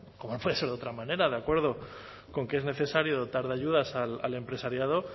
como no puede ser de otra manera de acuerdo con que es necesario dotar de ayudas al empresariado